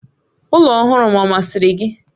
Ụlọ ọhụrụ m ọ masịrị gị?